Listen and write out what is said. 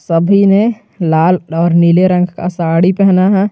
सभी ने लाल और नीले रंग का साड़ी पहना है।